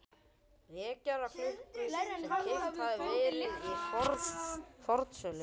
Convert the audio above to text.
vekjaraklukku sem keypt hafði verið á fornsölu.